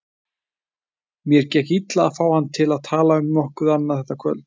Mér gekk illa að fá hann til að tala um nokkuð annað þetta kvöld.